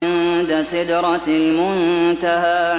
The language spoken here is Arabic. عِندَ سِدْرَةِ الْمُنتَهَىٰ